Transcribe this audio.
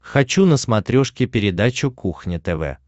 хочу на смотрешке передачу кухня тв